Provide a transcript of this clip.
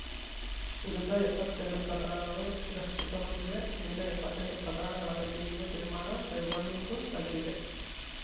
ಉಳಿದ ಎಪ್ಪತ್ತೆರಡು ಪ್ರಕರಣಗಳು ತಿರಸ್ಕೃತಗೊಂಡಿವೆ ಉಳಿದ ಎಪ್ಪತ್ತೆಂಟು ಪ್ರಕರಣಗಳ ಬಗ್ಗೆ ಇನ್ನೂ ತೀರ್ಮಾನ ಕೈಗೊಳ್ಳುವುದು ಬಾಕಿಯಿದೆ